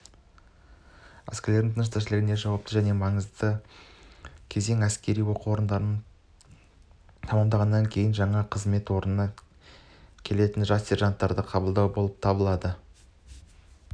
әскерлердің тыныс-тіршілігіндегі жауапты және маңызды кезең әскери оқу орындарын тәмамдағаннан кейін жаңа қызмет орнына келетін жас сержанттарды қабылдау болып табылады